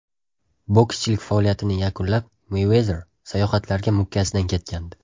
Bokschilik faoliyatini yakunlab, Meyvezer sayohatlarga mukkasidan ketgandi.